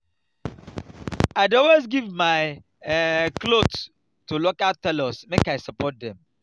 i dey always give my um cloth to local tailor make i support them.